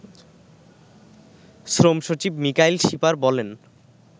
শ্রমসচিব মিকাইল শিপার বলেন